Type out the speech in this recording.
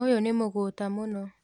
ũyũ nĩ mũgũta mũno